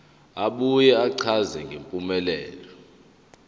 abuye achaze ngempumelelo